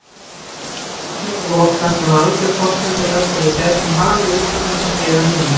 Fjárlagagatinu var lokað sem var alger forsenda þess að við gætum hafið uppbyggingarskeið að nýju.